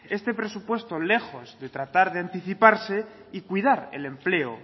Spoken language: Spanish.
este presupuesto lejos de tratar de anticiparse y cuidar el empleo